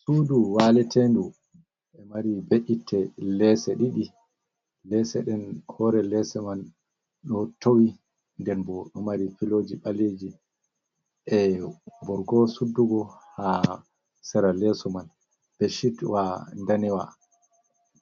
Sudu waletendu e mari be’itte leese ɗiɗi ,leese den hore lese man ɗo towi den boɗo mari filoji ɓaleji e borgo suddugo ha sera leso man beshit wa danewa